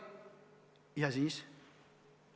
Ja siis?